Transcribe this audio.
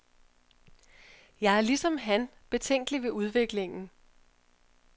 Jeg er ligesom han betænkelig ved udviklingen.